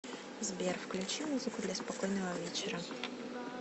сбер включи музыку для спокойного вечера